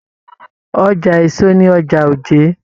Ọja èso ní ọjà Òjé.